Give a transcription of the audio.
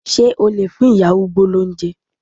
Ṣé o lè fún ìyá arúgbó lóúnjẹ?